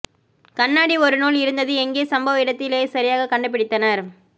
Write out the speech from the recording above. கண்ணாடி ஒரு நூல் இருந்தது எங்கே சம்பவ இடத்திலேயே சரியாக கண்டுபிடித்தனர்